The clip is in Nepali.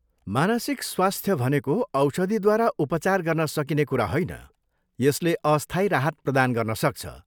मानसिक स्वास्थ्य भनेको औषधिद्वारा उपचार गर्न सकिने कुरा होइन, यसले अस्थायी राहत प्रदान गर्न सक्छ।